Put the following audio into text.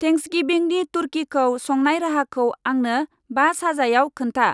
थेन्क्सगिभिंनि तुरकिखौ संनाय राहाखौ आंनो बा साजायाव खोन्था।